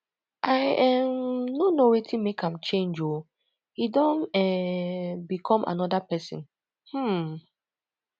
i um no know wetin make am change oo e don um become another person um